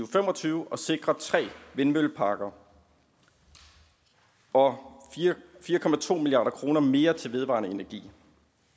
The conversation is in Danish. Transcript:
fem og tyve og sikrer tre vindmølleparker og fire milliard kroner mere til vedvarende energi